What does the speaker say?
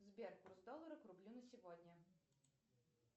сбер курс доллара к рублю на сегодня